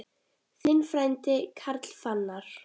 Þinn frændi, Karl Fannar.